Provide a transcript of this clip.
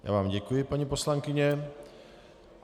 Já vám děkuji, paní poslankyně.